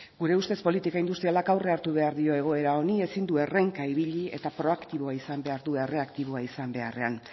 gure ustez politika industrialak aurrea hartu behar dio egoera honi ezin du errenka ibili eta proaktiboa izan behar du erreaktiboa izan beharrean